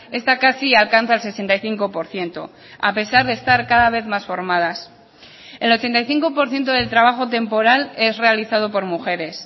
esta casi alcanza el sesenta y cinco por ciento a pesar de estar cada vez más formadas el ochenta y cinco por ciento del trabajo temporal es realizado por mujeres